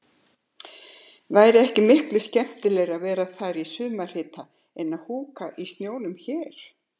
Væri ekki miklu skemmtilegra að vera þar í sumarhita en að húka í snjónum hér.